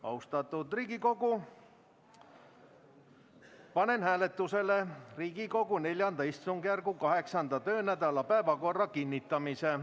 Austatud Riigikogu, panen hääletusele Riigikogu IV istungjärgu 8. töönädala päevakorra kinnitamise.